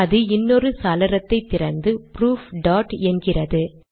அது இன்னொரு சாளரத்தை திறந்து புரூஃப் டாட் என்கிறது